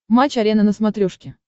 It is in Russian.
матч арена на смотрешке